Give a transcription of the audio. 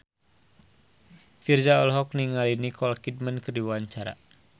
Virzha olohok ningali Nicole Kidman keur diwawancara